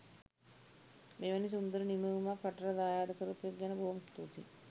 මෙවැනි සුන්දර නිමවුමක් රටට දායාද කරපු එක ගැන බොහොම ස්තුතියි